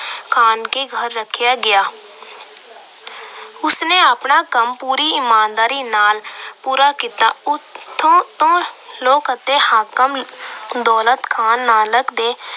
ਖਾਨ ਦੇ ਘਰ ਰੱਖਿਆ ਗਿਆ। ਉਸਨੇ ਆਪਣਾ ਕੰਮ ਪੂਰੀ ਈਮਾਨਦਾਰੀ ਨਾਲ ਪੂਰਾ ਕੀਤਾ। ਉਥੋਂ ਦੇ ਲੋਕ ਅਤੇ ਹਾਕਮ ਦੌਲਤ ਖਾਨ ਨਾਲ